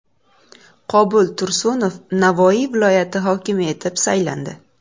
Qobul Tursunov Navoiy viloyati hokimi etib saylandi.